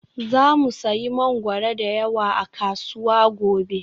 Za mu sayi mangwaro da yawa a kasuwa gobe